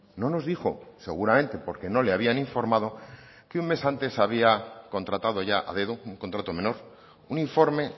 no nos dijo seguramente porque no le habían informado que un mes antes había contratado ya a dedo un contrato menor un informe